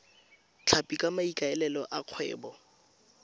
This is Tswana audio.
tlhapi ka maikaelelo a kgwebo